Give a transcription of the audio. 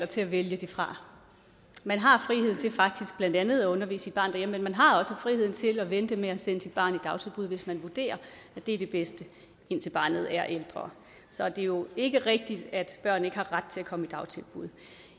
til at vælge det fra man har frihed til faktisk blandt andet at undervise sit barn derhjemme og man har også frihed til at vente med at sende sit barn i dagtilbud hvis man vurderer at det er det bedste indtil barnet er ældre så det er jo ikke rigtigt at børn ikke har ret til at komme i dagtilbud